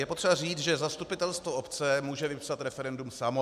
Je potřeba říci, že zastupitelstvo obce může vypsat referendum samo.